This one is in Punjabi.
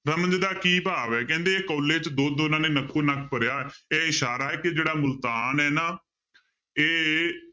ਰਮਜ ਦਾ ਕੀ ਭਾਵ ਹੈ ਕਹਿੰਦੇ ਕੋਲੇ 'ਚ ਦੁੱਧ ਉਹਨਾਂ ਨੇ ਨੱਕੋ ਨੱਕ ਭਰਿਆ ਇਹ ਇਸ਼ਾਰਾ ਹੈ ਕਿ ਜਿਹੜਾ ਮੁਲਤਾਨ ਹੈ ਨਾ ਇਹ